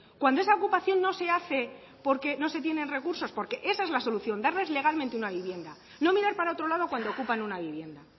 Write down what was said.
cuando esa ocupación no se hace porque no se tienen recursos porque esa es la solución darles legalmente una vivienda no mirar para otro lado cuando ocupan una vivienda